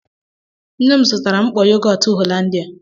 Nne m zụtara mkpọ yogọt Hollandia.